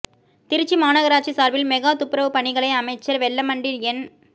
திருச்சி மாநகராட்சி சாா்பில் மெகா துப்புரவுப் பணிகளை அமைச்சா் வெல்லமண்டி என்